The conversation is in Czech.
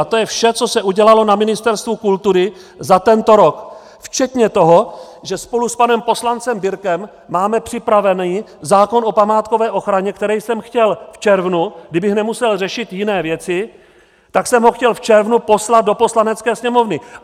A to je vše, co se udělalo na Ministerstvu kultury za tento rok, včetně toho, že spolu s panem poslancem Birke máme připravený zákon o památkové ochraně, který jsem chtěl v červnu, kdybych nemusel řešit jiné věci, tak jsem ho chtěl v červnu poslat do Poslanecké sněmovny.